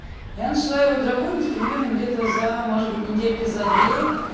я начала его драконить примерно где-то за может быть за недельки может быть за две